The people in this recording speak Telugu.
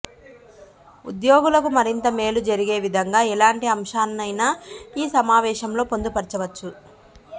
ఉద్యోగులకు మరింత మేలు జరిగే విధంగా ఎలాంటి అంశాలనైన ఈ సమావేశంలో పొందుపర్చవచ్చు